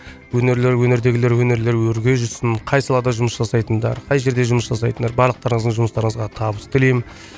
өнерлері өнердегілер өнерлері өрге жүрсін қай салада жұмыс жасайтындар қай жерде жұмыс жасайтындар барлықтарыңыздың жұмыстарына табыс тілеймін